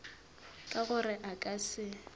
ka gore a ka se